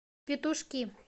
петушки